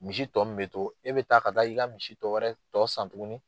Misi tɔ min bɛ to e bɛ taa ka taa i ka misi dɔwɛrɛ tɔ san tuguni.